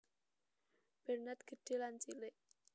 Bernard Gedhé lan Cilik